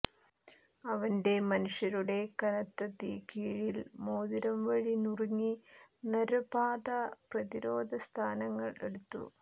അവന്റെ മനുഷ്യരുടെ കനത്ത തീ കീഴിൽ മോതിരം വഴി നുറുക്കി നര്വ പാത പ്രതിരോധ സ്ഥാനങ്ങൾ എടുത്തു